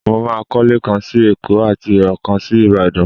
Mo máa kọ́lé kan sí Èkó àti ọ̀kan sí Ìbàdàn.